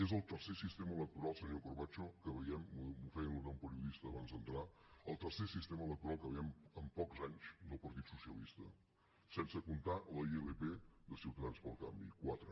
és el tercer sistema electoral senyor corbacho que veiem m’ho feia notar un periodista abans d’entrar en pocs anys del partit socialista sense comptar la ilp de ciutadans pel canvi quatre